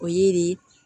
O ye de